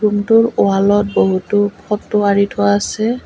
ৰুমটোৰ ৱালত বহুতো ফটো আঢ়ি থোৱা আছে।